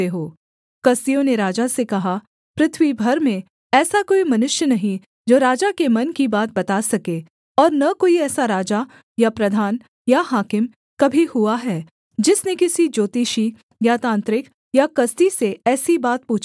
कसदियों ने राजा से कहा पृथ्वी भर में ऐसा कोई मनुष्य नहीं जो राजा के मन की बात बता सके और न कोई ऐसा राजा या प्रधान या हाकिम कभी हुआ है जिसने किसी ज्योतिषी या तांत्रिक या कसदी से ऐसी बात पूछी हो